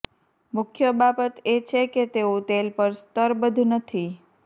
મુખ્ય બાબત એ છે કે તેઓ તેલ પર સ્તરબદ્ધ નથી